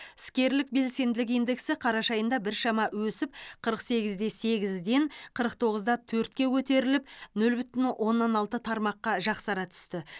іскерлік белсенділік индексі қараша айында біршама өсіп қырық сегіз де сегізден қырық тоғыз да төртке көтеріліп нөл бүтін оннан алты тармаққа жақсара түсті